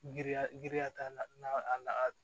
Giriya giriya t'a la a